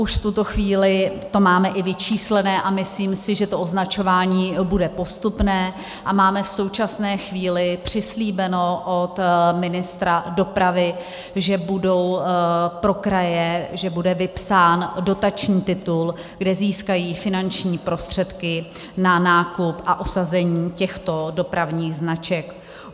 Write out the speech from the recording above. Už v tuto chvíli to máme i vyčíslené a myslím si, že to označování bude postupné, a máme v současné chvíli přislíbeno od ministra dopravy, že bude pro kraje vypsán dotační titul, kde získají finanční prostředky na nákup a osazení těchto dopravních značek.